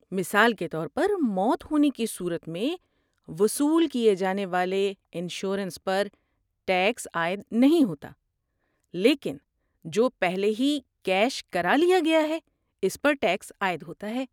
مثال کے طور پر، موت ہونے کی صورت میں وصول کیے جانے والے انشورنس پر ٹیکس عائد نہیں ہوتا، لیکن جو پہلے ہی کیش کرالیا گیا ہے اس پر ٹیکس عائد ہوتا ہے۔